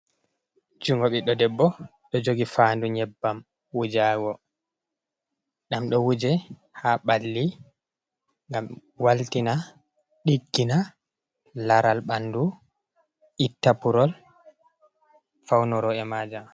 Jungo ɓiɗdo debbo ɗo jogi fandu nyebbam wujago ɗam ɗo wuje ha ɓalli ngam waltina, ɗiggina laral ɓandu, itta purol, faunoro e majam.